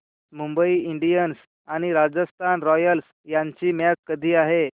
Mumbai Indians आणि Rajasthan Royals यांची match कधी आहे